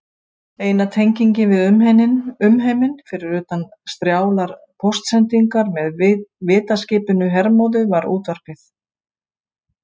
Eina tengingin við umheiminn, fyrir utan strjálar póstsendingar með vitaskipinu Hermóði, var útvarpið.